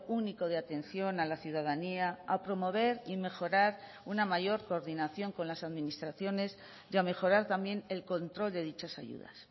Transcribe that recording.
único de atención a la ciudadanía a promover y mejorar una mayor coordinación con las administraciones y a mejorar también el control de dichas ayudas